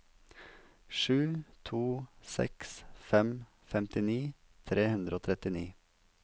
sju to seks fem femtini tre hundre og trettini